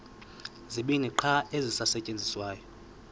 zibini qha ezisasetyenziswayo